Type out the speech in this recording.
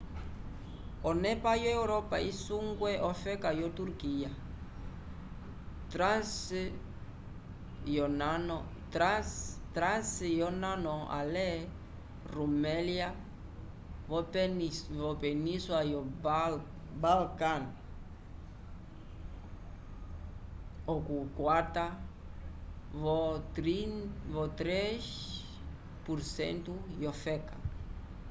onepa yo europa isungwe ofeka yo turquia trace yonano ale rumelia vopeninsula yo balkan okukwata-vo 3% yofeka